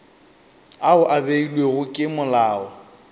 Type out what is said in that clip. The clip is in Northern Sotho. ao a beilwego ke molao